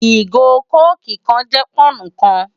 Igó kókí kán jè pònnú kán